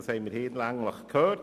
Das haben wir hinlänglich gehört.